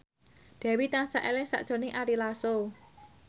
Dewi tansah eling sakjroning Ari Lasso